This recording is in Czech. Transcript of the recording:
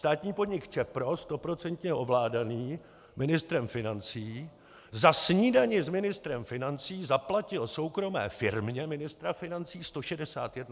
Státní podnik ČEPRO, stoprocentně ovládaný ministrem financí, za snídani s ministrem financí zaplatil soukromé firmě ministra financí 161 tisíc korun!